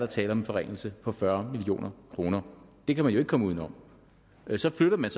tale om en forringelse på fyrre million kroner det kan man jo ikke komme udenom så flytter man